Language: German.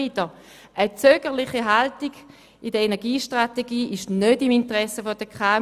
Eine zögerliche Haltung in der Energiestrategie liegt nicht im Interesse der KMU.